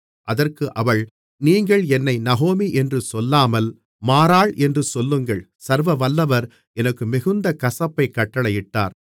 அதற்கு அவள் நீங்கள் என்னை நகோமி என்று சொல்லாமல் மாராள் என்று சொல்லுங்கள் சர்வவல்லவர் எனக்கு மிகுந்த கசப்பைக் கட்டளையிட்டார்